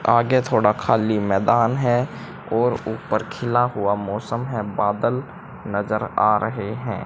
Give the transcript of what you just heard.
आगे थोड़ा खाली मैदान है और ऊपर खीला हुआ मौसम है बादल नजर आ रहे हैं।